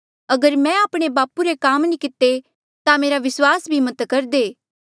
अगर मैं आपणे बापू रे काम नी किते ता मेरा विस्वास भी मत करदे